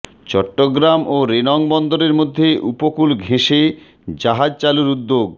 চট্টগ্রাম ও রেনং বন্দরের মধ্যে উপকূল ঘেঁষে জাহাজ চালুর উদ্যোগ